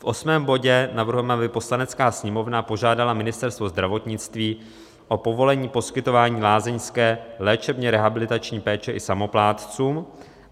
V osmém bodě navrhujeme, aby "Poslanecká sněmovna požádala Ministerstvo zdravotnictví o povolení poskytování lázeňské léčebně rehabilitační péče i samoplátcům".